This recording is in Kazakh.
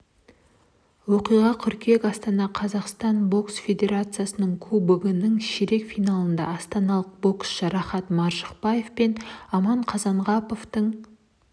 оқиға қыркүйекте астанада қазақстан бокс федерациясының кубогының ширек финалында астаналық боксшы рахат маржықпаев пен аман қазанғаповтың